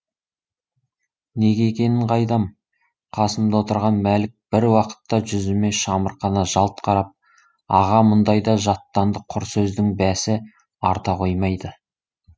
неге екенін қайдам қасымда отырған мәлік бір уақытта жүзіме шамырқана жалт қарап аға мұндайда жаттанды құр сөздің бәсі арта қоймайды